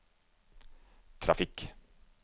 trafikk